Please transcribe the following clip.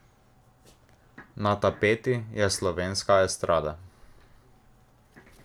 Na tapeti je slovenska estrada.